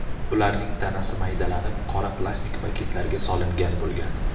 Ularning tanasi maydalanib, qora plastik paketlarga solingan bo‘lgan.